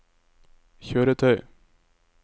kjøretøy